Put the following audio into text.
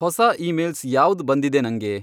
ಹೊಸಾ ಈಮೇಲ್ಸ್ ಯಾವ್ದ್ ಬಂದಿದೆ ನಂಗೆ